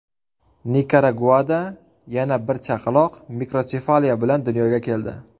Nikaraguada yana bir chaqaloq mikrotsefaliya bilan dunyoga keldi.